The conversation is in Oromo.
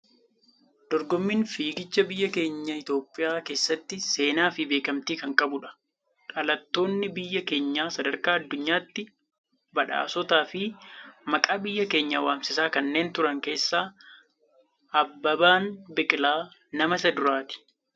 Dorgommiin fiigicha biyya keenya Itoophiyaa keessatti seenaa fi beekamtii kan qabudha. Dhalattoonni biyya keenyaa sadarkaa addunyaatti badhaasotaa fi maqaa biyya keenyaa waamsisaa kanneen turan keessaa Abbabaan Biqilaa nama isa duraati.